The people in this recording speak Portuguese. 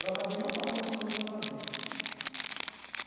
Eu acabei não fazendo um currículo acadêmico.